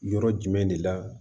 Yɔrɔ jumɛn de la